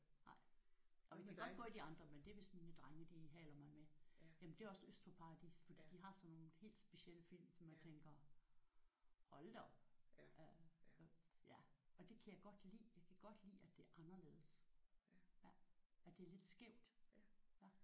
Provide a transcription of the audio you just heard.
Nej jo vi kan godt gå i de andre men det er hvis mine drenge de haler mig med. Jamen det er også Øst for Paradis fordi de har sådan nogle helt specielle film hvor man tænker hold da op ja og det kan jeg godt lide. Jeg kan godt lide at det er anderledes. At det er lidt skævt